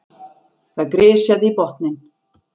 Það grisjaði í botninn.